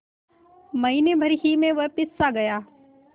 महीने भर ही में वह पिससा गया